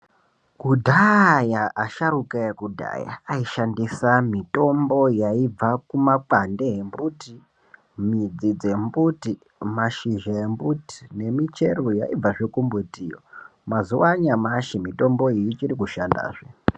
Kudhaaya, asharuka ekudhaya ,ayishandisa mitombo yaibva kumakwande embuti, midzi dzembuti, mashizha embuti, nemichero yaibvazve kumbutiyo. Mazuva anyashi mitombo iyi ichiri kushandazve.